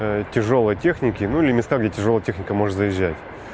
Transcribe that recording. тяжёлой техники ну или места где тяжёлая техника может заезжать